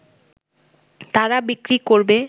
তারা বিক্রি করবে